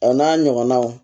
A n'a ɲɔgɔnnaw